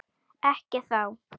Ekki þá.